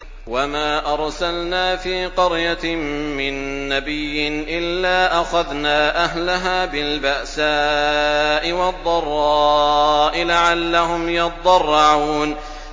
وَمَا أَرْسَلْنَا فِي قَرْيَةٍ مِّن نَّبِيٍّ إِلَّا أَخَذْنَا أَهْلَهَا بِالْبَأْسَاءِ وَالضَّرَّاءِ لَعَلَّهُمْ يَضَّرَّعُونَ